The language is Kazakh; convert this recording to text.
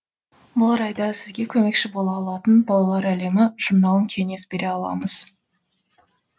бұл орайда сізге көмекші бола алатын балалар әлемі журналын кеңес бере аламыз